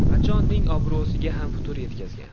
Qachon?”ning obro‘siga ham putur yetkazgan.